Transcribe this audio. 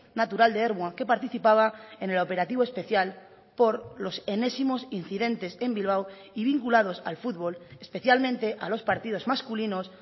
natural de ermua que participaba en el operativo especial por los enésimos incidentes en bilbao y vinculados al fútbol especialmente a los partidos masculinos